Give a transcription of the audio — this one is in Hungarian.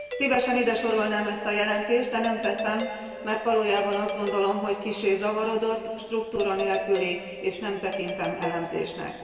Szívesen ide sorolnám ezt a jelentést, de nem teszem, mert valójában azt gondolom, hogy kissé zavarodott, struktúra nélküli, és nem tekintem elemzésnek.